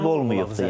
Fərq olmayıbdır yəni.